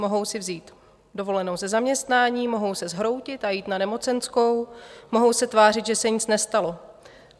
Mohou si vzít dovolenou ze zaměstnání, mohou se zhroutit a jít na nemocenskou, mohou se tvářit, že se nic nestalo.